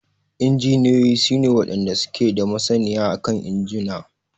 Injiniyoyin su ne wadanda suke da masaniya akan injuna.